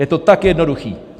Je to tak jednoduché.